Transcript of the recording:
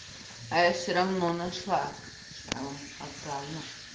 а я все равно нашла потому что отправила